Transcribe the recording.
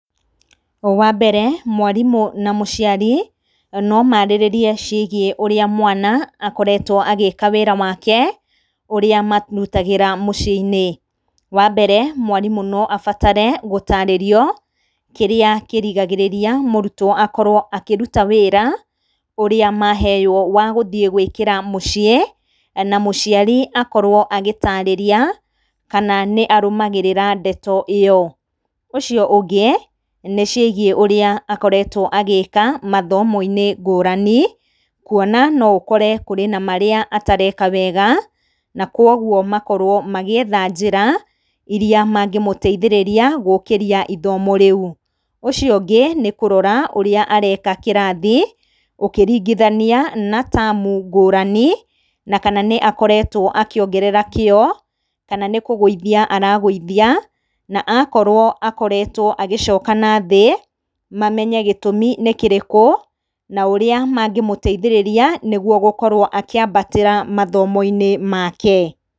Wa mbere mwarimũ na mũciari no maarĩrĩrie ciĩgiĩ ũrĩa mwana akoretwo agĩka wĩra wake ũrĩa marutagĩra mũciĩ-inĩ. Wa mbere mwarimũ no abatare gũtarĩrio kĩrĩa kĩrigagĩrĩria mũrutwo akorwo akĩruta wĩra ũrĩa maheyũo wa gũthiĩ gwĩkĩra mũciĩ na mũciari akorwo agĩtarĩria kana nĩ arũmagĩrĩra ndeto ĩyo. Ũcio ũngĩ nĩ ciĩgiĩ ũrĩa akoretwo agĩka mathomo-inĩ ngũrani kuona no ũkore kũrĩ na marĩa atareka wega, na kuũguo makorwo magĩetha njĩra iria mangĩmũteithĩrĩria gũkĩria ithomo rĩu. Ũcio ũngĩ nĩ kũrora ũrĩa areka kĩrathi, ũkĩringithania na tamu ngũrani na kana nĩ akoretwo akĩongerera kĩyo, kana nĩ kũgũithia aragũthia na akorwo akoretwo agĩcoka nathĩ, mamenye gĩtũmi nĩ kĩrĩkũ na ũrĩa mangĩmũteithĩrĩria nĩguo gũkorwo akĩambatĩra mathomo-inĩ make.